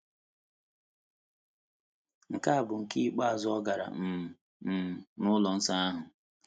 Nke a bụ nke ikpeazụ ọ gara um um n’ụlọ nsọ ahụ.